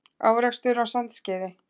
Árekstur á Sandskeiði